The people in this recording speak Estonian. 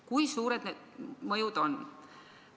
Kui suured need mõjud on?